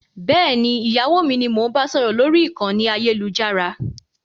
Bẹ́ẹ̀ni, ìyàwó mi ni mo ń bá sọ̀rọ̀ lórí ìkànnì ayélujára